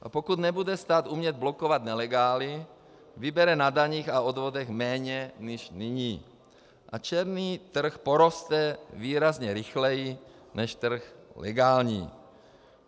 A pokud nebude stát umět blokovat nelegály, vybere na daních a odvodech méně než nyní a černý trh poroste výrazně rychleji než trh legální.